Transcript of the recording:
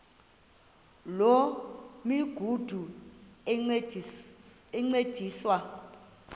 loo migudu encediswa